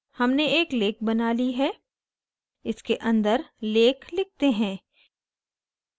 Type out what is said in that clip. हमने एक lake बना we है इसके अंदर lake लिखते हैं